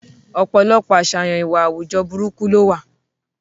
Ọ̀pọ̀lọpọ̀ àṣàyàn ìwà àwùjọ burúkú lówà